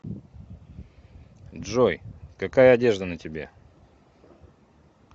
джой какая одежда на тебе